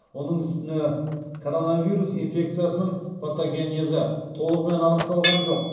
оның үстіне коронавирус инфекциясының патогенезі толығымен анықталған жоқ